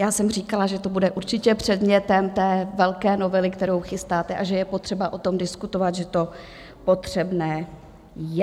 Já jsem říkala, že to bude určitě předmětem té velké novely, kterou chystáte, a že je potřeba o tom diskutovat, že to potřebné je.